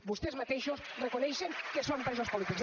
vostès mateixos reconeixen que són presos polítics